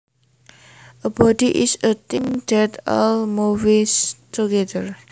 A body is a thing that all moves together